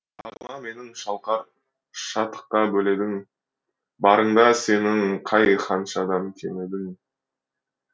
бағыма менің шалқар шатыққа бөледің барыңда сенің қай ханышадан кем едім